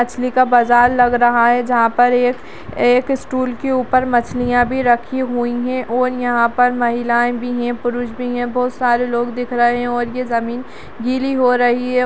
मछली का बाजार लग रहा है जहाँ पर एक-एक स्टूल के ऊपर मछलियाँ भी रखी हुई हैं और यहाँ पर महिलायें भी हैं पुरुष भी है बहोत सारे लोग दिख रहें हैं और ये जमीन गीली हो रही है।